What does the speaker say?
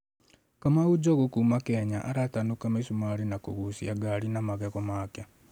‘Kamau Njogu’ kuuma Kenya, aratanuka mi͂sumari͂ na ku͂guuci͂a gari na magego make.